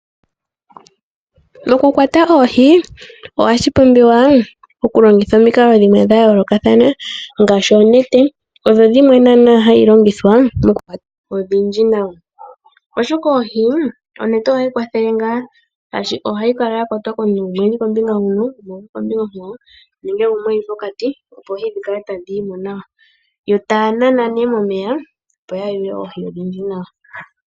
Okukwata oohi ohashi pumbiwa okulongitha omikalo dhimwe dha yoolokathana ngaashi oonete, odho dhimwe naana hayi longithwa okukwata oohi odhindji nawa. Oshoka oohi, onete ohayi kwathele ngaa shaashi ohayi kala ya kwatwa komuntu gumwe oku li kombinga huno, gumwe oku li kombinga onkwawo, nenge gumwe e li pokati, opo tadhi vulu okukala tadhi yi mo nawa. Yo taa nana momeya opo ya yule oohi odhindji.